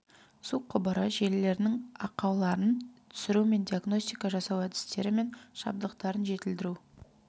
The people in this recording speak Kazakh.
су құбыры желілерінің ақауларын түсіру мен диагностика жасау әдістері мен жабдықтарын жетілдіру